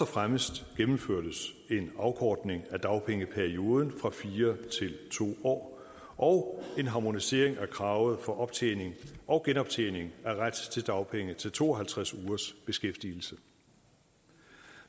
fremmest indførtes en afkortning af dagpengeperioden fra fire til to år og en harmonisering af kravet for optjening og genoptjening af ret til dagpenge til to og halvtreds ugers beskæftigelse